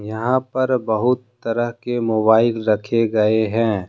यहां पर बहुत तरह के मोबाइल रखे गए हैं।